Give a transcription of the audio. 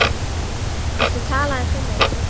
Viltu tala aðeins við mig.